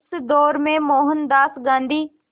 उस दौर में मोहनदास गांधी